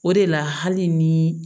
O de la hali ni